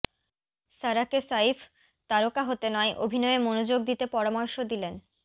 সারাকে সাইফ তারকা হতে নয় অভিনয়ে মনোযোগ দিতে পরামর্শ দিলেন